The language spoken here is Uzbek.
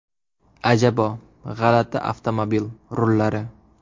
Ajabo: g‘alati avtomobil rullari .